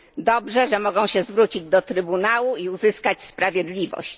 Dobrze, że mogą się zwrócić do Trybunału i uzyskać sprawiedliwość.